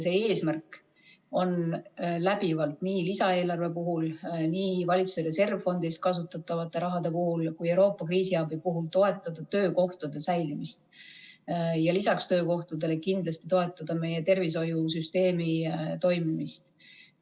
Eesmärk on läbivalt nii lisaeelarve puhul, nii valitsuse reservfondist kasutatava raha puhul kui ka Euroopa kriisiabi puhul toetada töökohtade säilimist ja lisaks töökohtadele kindlasti toetada meie tervishoiusüsteemi toimimist.